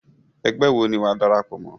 Egbé wo ni wàá darapọ̀ mọ́?